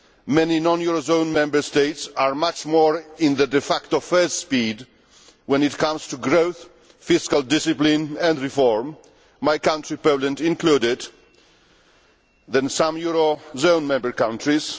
Many non eurozone Member States are much more in the de facto first speed when it comes to growth, fiscal discipline and reform my country Poland included than some eurozone member countries.